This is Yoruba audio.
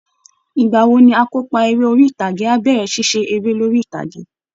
Ìgbà wo ni akópa eré orí ìtàgé á bẹ̀rẹ̀ ṣíṣe eré lórí ìtàgé?